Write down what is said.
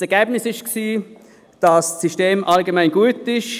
Das Ergebnis ist, dass das System allgemein gut ist.